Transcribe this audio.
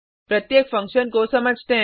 प्रत्येक फंक्शन को समझते हैं